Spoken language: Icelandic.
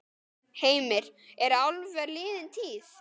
Heimir: Eru álver liðin tíð?